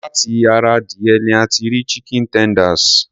Láti ara adìyẹ ní a ti rí chicken tenders.